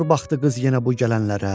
Xor baxdı qız yenə bu gələnlərə.